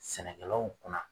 Sɛnɛkɛlaw kunna.